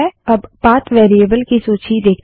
अब path variable की value देखते हैं